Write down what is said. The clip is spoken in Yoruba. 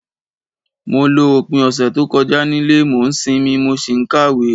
Mo lo opín ọ̀sẹ̀ to kojá nílé, mo n sinmí, mo si n kàwé